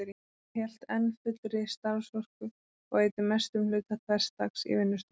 Hann hélt enn fullri starfsorku og eyddi mestum hluta hvers dags í vinnustofunni.